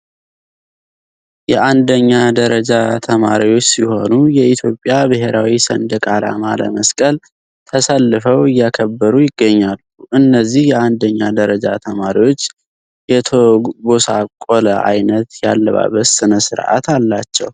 የአንደኛ ደረጃ ተማሪዎች ሲሆኑ የኢትዮጵያ ብሔራዊ ሰንደቅ አላማ ለመስቀል ተሰልፈው እያከበሩ ይገኛሉ እነዚህ የአንደኛ ደረጃ ተማሪዎች የተቦሳቆለ አይነት ያለባበስ ስነ ስርአት አላቸው።